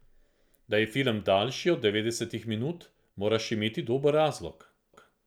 Da je film daljši od devetdesetih minut, moraš imeti dober razlog.